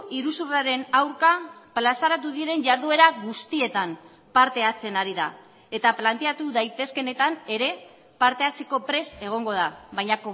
iruzurraren aurka plazaratu diren jarduera guztietan parte hartzen ari da eta planteatu daitezkeenetan ere parte hartzeko prest egongo da baina